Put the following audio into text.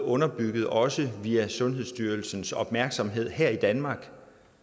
underbygget også via sundhedsstyrelsens opmærksomhed her i danmark